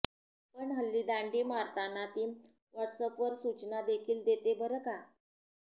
पण हल्ली दांडी मारताना ती व्हॉट्सअपवर सूचना देखील देते बरं का